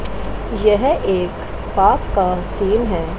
यह एक पार्क का सीन है।